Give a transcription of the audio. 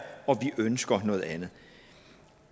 og vi ønsker noget andet